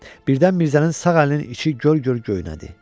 Birdən Mirzənin sağ əlinin içi göl-göl göynədi.